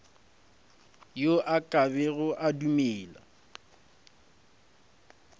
yo a kego a dumele